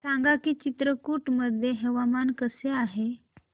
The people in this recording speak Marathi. सांगा की चित्रकूट मध्ये हवामान कसे आहे